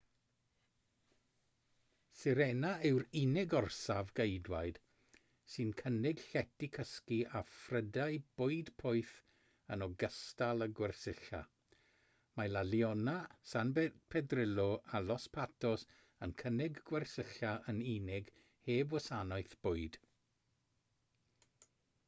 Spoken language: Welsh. sirena yw'r unig orsaf geidwaid sy'n cynnig llety cysgu a phrydau bwyd poeth yn ogystal â gwersylla mae la leona san pedrillo a los patos yn cynnig gwersylla yn unig heb wasanaeth bwyd